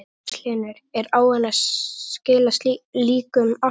Magnús Hlynur: Er áin að skila líkum alltaf?